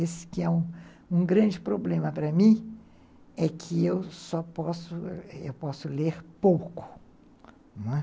Esse que é um grande problema para mim é que eu só posso, eu posso eu posso ler pouco, não é?